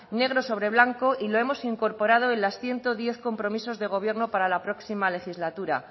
negro sobre blanco y lo hemos incorporado en los ciento diez compromisos de gobierno para la próxima legislatura